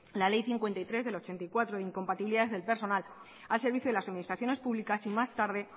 la ley cincuenta y tres de mil novecientos ochenta y cuatro incompatibilidades del personal al servicio de las administraciones públicas y más tarde